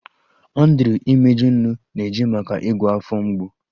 Andrew imeju, nnu na-eji maka ịgwọ afọ mgbu